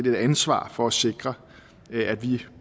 et ansvar for at sikre at vi